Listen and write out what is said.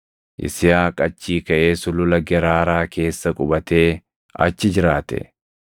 Yisihaaq achii kaʼee sulula Geraaraa keessa qubatee achi jiraate.